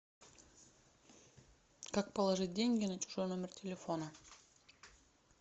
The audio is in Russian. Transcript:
как положить деньги на чужой номер телефона